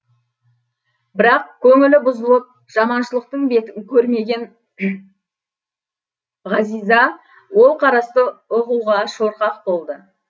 бірақ көңілі бұзылып жаманшылықтың бетін көрмеген ғазиза ол қарасты ұғуға шорқақ болды